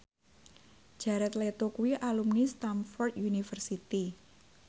Jared Leto kuwi alumni Stamford University